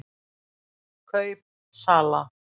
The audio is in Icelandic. KAUP SALA